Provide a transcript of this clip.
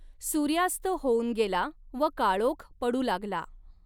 सूर्यास्त होऊन गेला व काळोख पडू लागला.